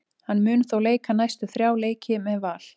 Hann mun þó leika næstu þrjá leiki með Val.